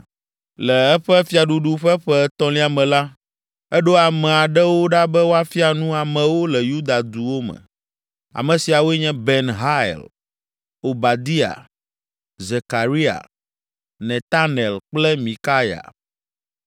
Le eƒe fiaɖuɖu ƒe ƒe etɔ̃lia me la, eɖo ame aɖewo ɖa be woafia nu amewo le Yuda duwo me. Ame siawoe nye Ben Hail, Obadia, Zekaria, Netanel kple Mikaya.